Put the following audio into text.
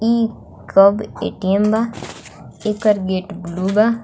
इ कब ए_टी_एम बा इकर गेट ब्लू बा।